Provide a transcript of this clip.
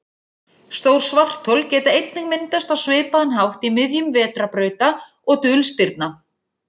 Stór svarthol geta einnig myndast á svipaðan hátt í miðjum vetrarbrauta og dulstirna.